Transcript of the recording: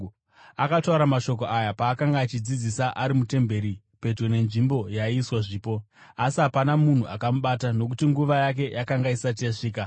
Akataura mashoko aya paakanga achidzidzisa ari mutemberi pedyo nenzvimbo yaiiswa zvipo. Asi hapana munhu akamubata, nokuti nguva yake yakanga isati yasvika.